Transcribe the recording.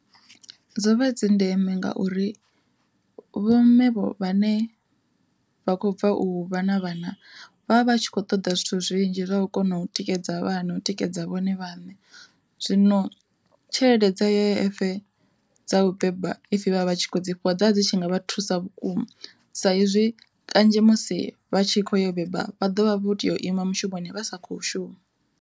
Dzo vha dzi ndeme ngauri vho mme vhane vha khou bva u vha na vhana, vha vha vha tshi kho ṱoḓa zwithu zwinzhi zwa vha kona u tikedza vhana u tikedza vhone vhaṋe. Zwino tshelede dza U_I_F dza u beba if vhavha vhatshi kho dzi fhiwa dza vha dzi tshi nga vha thusa vhukuma, sa izwi kanzhi musi vha tshi kho yo beba vha ḓovha vha kho tea u ima mushumoni vha sa kho shuma.